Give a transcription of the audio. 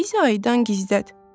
Bizi aydan gizlət.